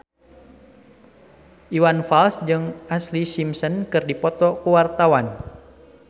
Iwan Fals jeung Ashlee Simpson keur dipoto ku wartawan